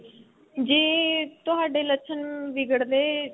ਜੇ ਤੁਹਾਡੇ ਲੱਛਣ ਵਿਗੜਦੇ